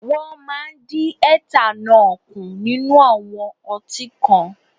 Wọ́n máa dí etanọ́ọ̀ kù nínú àwọn ọtí kan.